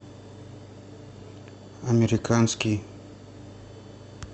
американский